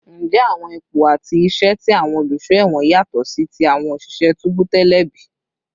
Njẹ awọn ipo ati awọn iṣẹ ti awọn oluṣọ ẹwọn yatọ si ti awọn oṣiṣẹ tubu tẹlẹ bi?